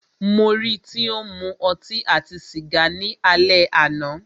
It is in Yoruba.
Mó rí í tí o ń mú ọtí àti sìgá ni alẹ́ àná.